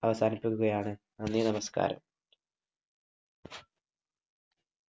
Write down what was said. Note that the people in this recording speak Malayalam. അവസാനിപ്പിക്കുകയാണ്. നന്ദി. നമസ്കാരം.